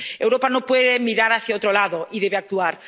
Europa no puede mirar hacia otro lado y debe actuar.